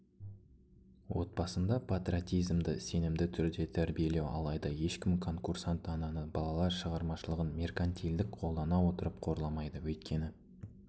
отбасында патриотизмді сенімді түрде тәрбиелеу алайда ешкім конкурсант-ананы балалар шығармашылығын меркантилдік қолдана отырып қорламайды өйткені